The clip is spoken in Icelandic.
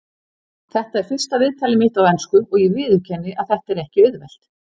Þetta er fyrsta viðtalið mitt á ensku og ég viðurkenni að þetta er ekki auðvelt.